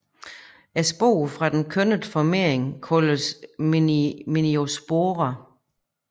Sporerne fra den kønnede formering kaldes meiosporer